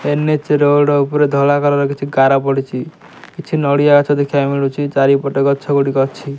NH road ଉପରେ ଧଳା colour କିଛି ଗାର ପଡ଼ିଛି କିଛି ନଡିଆ ଗଛ ଦେଖିବାକୁ ମିଳୁଛି। ଚାରିପଟେ ଗଛଗୁଡ଼ିକ ଅଛି।